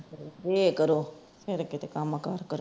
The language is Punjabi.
ਏਹ ਕਰੋ ਫੇਰ ਕਿਥੇ ਕੰਮ ਕਾਰ ਕਰੋ